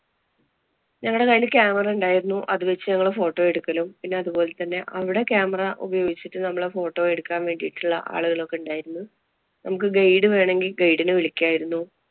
ഞങ്ങടെ കൈയില് camera ഉണ്ടായിരുന്നു. അത് വച്ചു ഞങ്ങള് photo എടുക്കലും പിന്നെ അതുപോലെ തന്നെ അവിടെ camera ഉപയോഗിച്ചിട്ട് നമ്മള് photo എടുക്കാന്‍ വേണ്ടീട്ടുള്ള ആളുകളും ഒക്കെ ഉണ്ടായിരുന്നു. നമ്മക്ക് guide വേണമെങ്കില്‍ guide നെ വിളിക്കാരുന്നു.